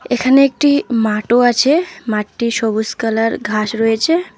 এখানে একটি মাঠও আছে মাঠটি সবুজ কালার ঘাস রয়েছে।